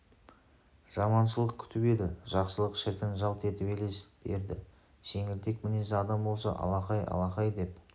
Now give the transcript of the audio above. жаманшылық күтіп еді жақсылық шіркін жалт етіп елес берді жеңілтек мінезді адам болса алақай алақай деп